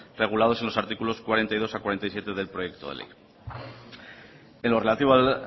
regulados en los artículos cuarenta y dos al cuarenta y siete del proyecto de ley en lo relativo al